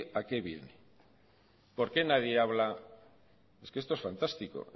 a qué viene por qué nadie habla es que esto es fantástico